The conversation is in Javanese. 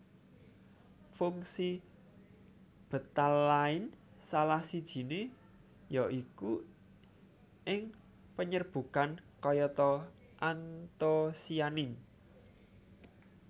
Fungsi betalain salah sijie ya iku ing panyerbukan kayata antosianin